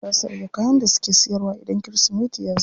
Za su rage kayan da suke siyarwa idan kirismeti yazo.